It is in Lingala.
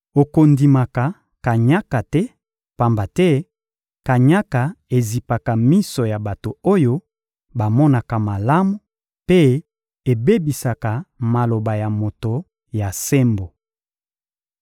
Okondimaka kanyaka te, pamba te kanyaka ezipaka miso ya bato oyo bamonaka malamu mpe ebebisaka maloba ya moto ya sembo.